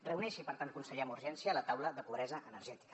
reuneixi per tant conseller amb urgència la taula de pobresa energètica